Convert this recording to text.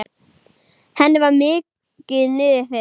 Henni var mikið niðri fyrir.